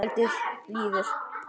Kvöldið líður.